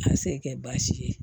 A se kɛ baasi ye